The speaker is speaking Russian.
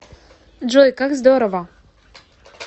джой как здорово